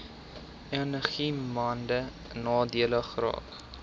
enigiemand nadelig geraak